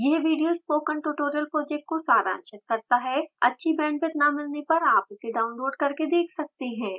यह video spoken tutorial project को सारांशित करता है अच्छी bandwidth न मिलने पर आप इसे download करके देख सकते हैं